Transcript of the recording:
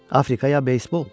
Afrika ya beysbol?